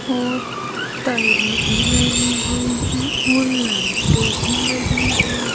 और टाइल भी लगी हुई है और लाइटें भी लगी हुई--